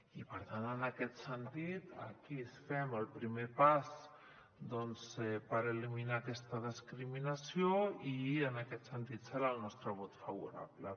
i per tant en aquest sentit aquí fem el primer pas doncs per eliminar aquesta discriminació i en aquest sentit serà el nostre vot favorable